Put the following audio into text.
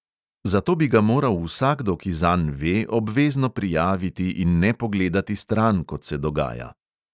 Zato bi ga moral vsakdo, ki zanj ve, obvezno prijaviti in ne pogledati stran, kot se dogaja.